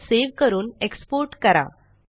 file save करून export करा